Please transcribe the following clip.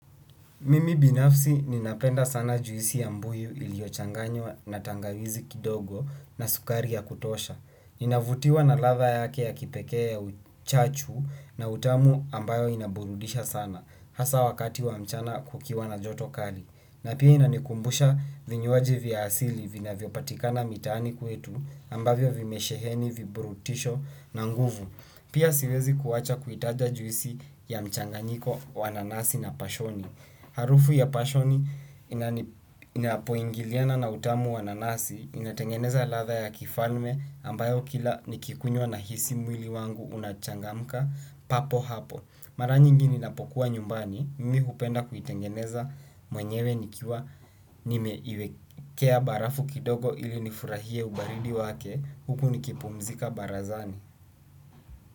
Mimi binafsi ninapenda sana juisi ya mbuyu iliyochanganywa na tangawizi kidogo na sukari ya kutosha. Ninavutiwa na ladha yake ya kipekee ya uchachu na utamu ambayo inaburudisha sana. Hasa wakati wa mchana kukiwa na joto kali. Na pia inanikumbusha vinywaji vya asili vinavyopatikana mitaani kwetu ambavyo vimesheheni viburutisho na nguvu. Pia siwezi kuwacha kutaja juisi ya mchanganyiko wa nanasi na pashoni. Harufu ya pashoni inapoingiliana na utamu wa nanasi inatengeneza ladha ya kifalme ambayo kila nikinywa na hisi mwili wangu unachangamka papo hapo. Mara nyingi ninapokuwa nyumbani mimi hupenda kuitengeneza mwenyewe nikiwa nimeweka barafu kidogo ili nifurahie ubaridi wake huku nikipumzika barazani.